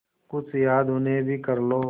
कुछ याद उन्हें भी कर लो